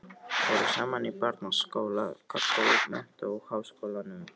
Voru saman í barnaskóla, gaggó, menntó og háskólanum.